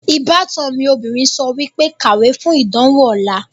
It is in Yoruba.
Ìbátan mi obìnrin sọ wípé, 'Kàwé fún ìdánwò ọ̀la'